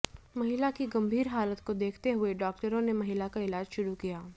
महिला की गंभीर हालत को देखते हुए डॉक्टरों ने महिला का इलाज शुरू किया